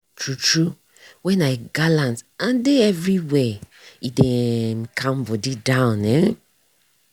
true true when i galant and dey everywhere e dey um calm body down. um